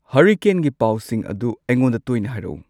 ꯍꯔꯤꯀꯦꯟꯒꯤ ꯄꯥꯎꯁꯤꯡ ꯑꯗꯨ ꯑꯩꯉꯣꯟꯗ ꯇꯣꯏꯅ ꯍꯥꯏꯔꯛꯎ